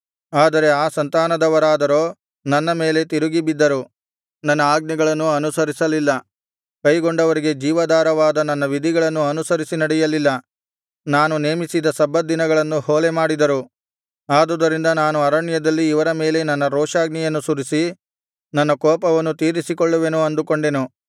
ಆದರೆ ಆ ಸಂತಾನದವರಾದರೋ ನನ್ನ ಮೇಲೆ ತಿರುಗಿ ಬಿದ್ದರು ನನ್ನ ಆಜ್ಞೆಗಳನ್ನು ಅನುಸರಿಸಲಿಲ್ಲ ಕೈಗೊಂಡವರಿಗೆ ಜೀವಾಧಾರವಾದ ನನ್ನ ವಿಧಿಗಳನ್ನು ಅನುಸರಿಸಿ ನಡೆಯಲಿಲ್ಲ ನಾನು ನೇಮಿಸಿದ ಸಬ್ಬತ್ ದಿನಗಳನ್ನು ಹೊಲೆ ಮಾಡಿದರು ಆದುದರಿಂದ ನಾನು ಅರಣ್ಯದಲ್ಲಿ ಇವರ ಮೇಲೆ ನನ್ನ ರೋಷಾಗ್ನಿಯನ್ನು ಸುರಿಸಿ ನನ್ನ ಕೋಪವನ್ನು ತೀರಿಸಿಕೊಳ್ಳುವೆನು ಅಂದುಕೊಂಡೆನು